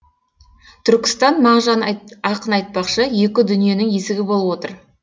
түркістан мағжан ақын айтпақшы екі дүниенің есігі болып отыр